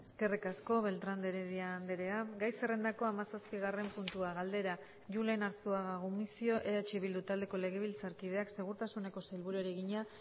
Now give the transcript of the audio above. eskerrik asko beltrán de heredia andrea gai zerrendako hamazazpigarren puntua galdera julen arzuaga gumuzio eh bildu taldeko legebiltzarkideak segurtasuneko sailburuari egina